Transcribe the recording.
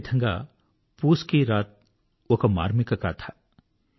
అదేవిధంగా పూస్ కీ రాత్ ఒక మార్మిక కథ